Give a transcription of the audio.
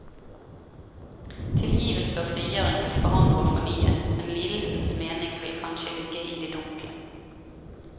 Tilgivelse og frigjøring vil forandre og fornye, men lidelsens mening vil kanskje ligge i det dunkle.